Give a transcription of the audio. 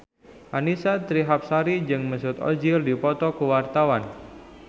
Annisa Trihapsari jeung Mesut Ozil keur dipoto ku wartawan